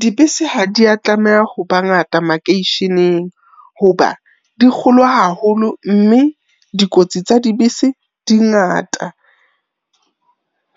Dibese ha dia tlameha hoba ngata makeisheneng hoba di kgolo haholo, mme dikotsi tsa dibese di ngata.